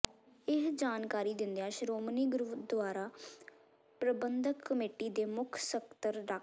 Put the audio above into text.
ਇਹ ਜਾਣਕਾਰੀ ਦਿੰਦਿਆਂ ਸ਼੍ਰੋਮਣੀ ਗੁਰਦੁਆਰਾ ਪ੍ਰਬੰਧਕ ਕਮੇਟੀ ਦੇ ਮੁੱਖ ਸਕੱਤਰ ਡਾ